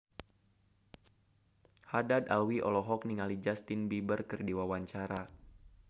Haddad Alwi olohok ningali Justin Beiber keur diwawancara